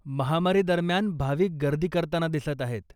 महामारी दरम्यान, भाविक गर्दी करताना दिसत आहेत.